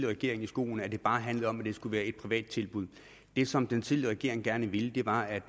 regering i skoene at det bare handlede om at det skulle være et privat tilbud det som den tidligere regering gerne ville var at